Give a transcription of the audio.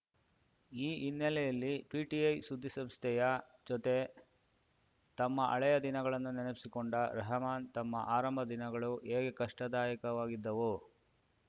ಈ ಹಿನ್ನೆಲೆಯಲ್ಲಿ ಪಿಟಿಐ ಸುದ್ದಿಸಂಸ್ಥೆಯ ಜೊತೆ ತಮ್ಮ ಹಳೆಯ ದಿನಗಳನ್ನು ನೆನಪಿಸಿಕೊಂಡ ರೆಹಮಾನ್‌ ತಮ್ಮ ಆರಂಭದ ದಿನಗಳು ಹೇಗೆ ಕಷ್ಟದಾಯಕವಾಗಿದ್ದವು